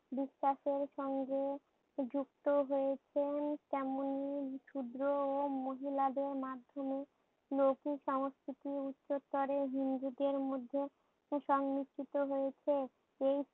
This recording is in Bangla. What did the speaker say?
বিশ্বাসের সঙ্গে যুক্ত হয়েছেন তেমনি শুভ্র ও মহিলাদের মাধ্যমে লোক সংস্কৃতির উচ্ছেদ করে হিন্দুদের মধ্যে সংমিস্ত্রিত হয়েছে।